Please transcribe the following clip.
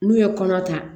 N'u ye kɔnɔ ta